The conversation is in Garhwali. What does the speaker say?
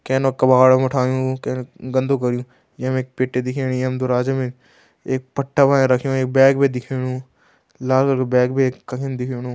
कै नो कबाड़म उठायूं कै गंदु कर्युं। ये मे एक पेट्टी दिखेणी यम दुराज मे। एक पट्टा वाया रख्यों एक बैग बी दिखेणु लाल वालू बैग बै एक कखिम दिखेणु।